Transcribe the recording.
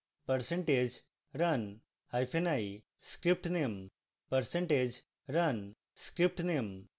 percentage run hyphen i script name